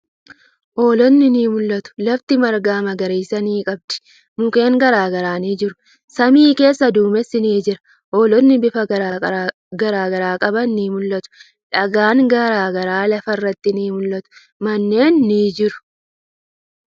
Hoolotni ni mul'atu. Lafti marga magariisa ni qabdi. Mukkeen garagaraa ni jiru. Samii keessa duumessi ni jira. Hoolotni bifa garagaraa qaban ni mul'atu. Dhagaan garagaraa lafa irratti ni mul'atu. Manneen ni jiru.